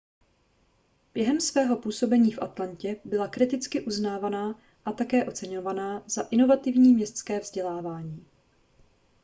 během svého působení v atlantě byla kriticky uznávaná a také oceňovaná za inovativní městské vzdělávání